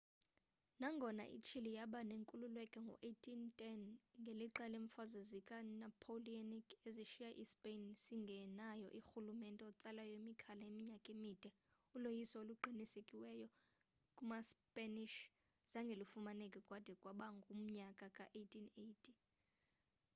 nangona i-chile yaba nenkululeko ngo 1810 ngelixa leemfazwe zika napoleonic ezashiya i-spain singenaye urhulumente otsala imikhala iminyaka emide uloyiso oluqinisekisiweyo kumaspanish zange lufumaneke kwade kwaba ngumnyaka ka 1818